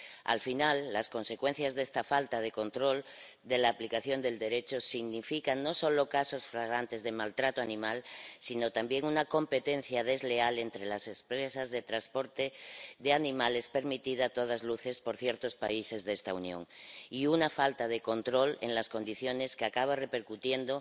Al final, las consecuencias de esta falta de control de la aplicación del Derecho se traducen no solo en casos flagrantes de maltrato animal, sino también en una competencia desleal entre las empresas de transporte de animales, permitida a todas luces por ciertos países de esta Unión, y en una falta de control de las condiciones que acaba repercutiendo